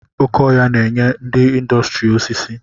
Oké ọhia na-enye ndị ịndọstrị osisi.